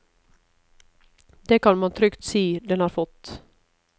Det kan man trygt si den har fått.